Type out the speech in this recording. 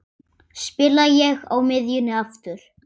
Spila ég á miðjunni aftur?